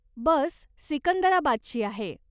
बस सिकंदराबादची आहे.